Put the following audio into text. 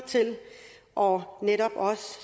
og